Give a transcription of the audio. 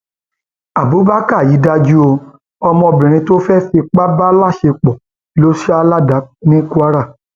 abubakar yìí dájú ó ọmọbìnrin tó fẹẹ fipá bá láṣepọ ló sá ládàá ní kwara